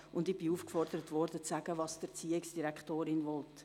Zudem wurde ich aufgefordert, zu sagen, was die Erziehungsdirektorin will.